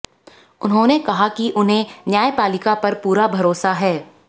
उन्होंने कहा कि उन्हें न्यायपालिका पर पूरा भरोसा है